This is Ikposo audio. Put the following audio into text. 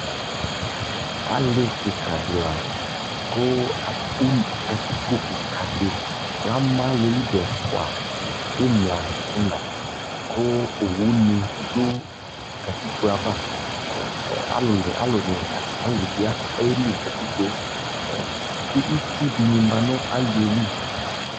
ali kikaa di la kʋ katikpɔ kikaa di lama aliɛli dʋ ɛƒʋa, imla nʋ inaa kʋ ɔwʋ ni dʋ katikpɔɛ aɣa, kʋ alʋ bi ɛli nʋ katikpɔɛ kʋitsʋ dinimanʋ aliɛli